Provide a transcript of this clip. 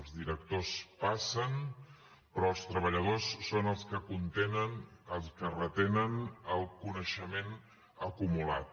els directors passen però els treballadors són els que contenen els que retenen el coneixement acumulat